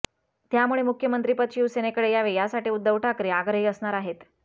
त्यामुळे मुख्यमंत्रीपद शिवसेनेकडे यावे यासाठी उद्धव ठाकरे आग्रही असणार आहेत